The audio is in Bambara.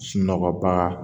Sunɔgɔbaga